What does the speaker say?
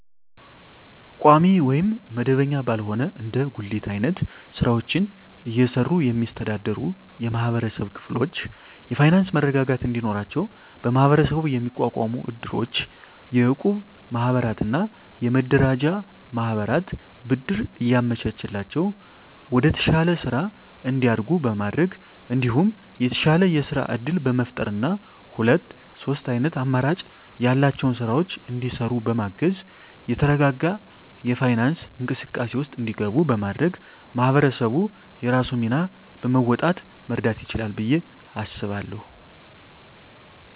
ቋሚ ወይም መደበኛ ባልሆነ እንደ ጉሊት አይነት ስራወችን እየሰሩ የሚስተዳደሩ የማህበረሰብ ክፍሎች የፋይናንሰ መረጋጋት እንዲኖራቸው በመሀበረሰቡ የሚቋቋሙ እድሮች፣ የእቁብ ማህበራትና የመረዳጃ ማህበራት ብድር እያመቻቸላቸው ወደተሻለ ስራ እንዲያድጉ በማድረግ እንዲሁም የተሻለ የስራ እድል በመፍጠርና ሁለት ሶስት አይነት አማራጭ ያላቸውን ስራወች እንዲሰሩ በማገዝ የተረጋጋ የፋይናንስ እንቅስቃሴ ውስጥ እንዲገቡ በማድረግ ማህበረሰቡ የራሱን ሚና በመወጣት መርዳት ይችላል ብየ አስባለሁ።